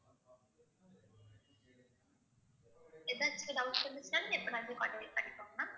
ஏதாச்சும் doubts இருந்துச்சுனாலும் எப்போனாலுமே பண்ணிக்கோங்க ma'am